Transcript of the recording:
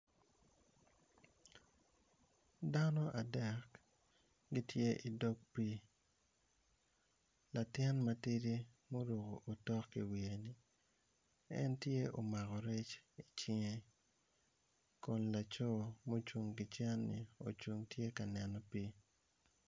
Dano adek gitye idog pii latin matidi ma oruko otok iwiye en tye omako rec icinge kun laco ma ocung kicen ni ocung tye kaneno pii